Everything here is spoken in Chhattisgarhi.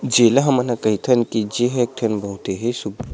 जेला हमन ह कहिथन की जे ह एकठन बहुत ही सुख--